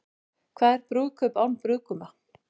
Hvað er brúðkaup án brúðguma?